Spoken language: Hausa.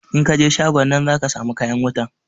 In kan je shagon nan zaka samu kayan wutan